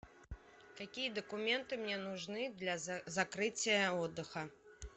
какие документы мне нужны для закрытия отдыха